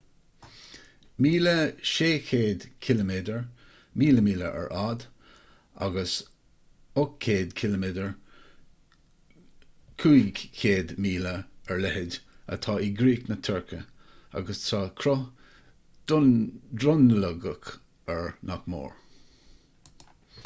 1,600 ciliméadar 1,000 míle ar fhad agus 800 km 500 míle ar leithead atá i gcríoch na tuirce agus tá cruth dronuilleogach air nach mór